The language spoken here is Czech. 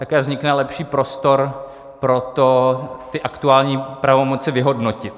Také vznikne lepší prostor pro to, ty aktuální pravomoci vyhodnotit.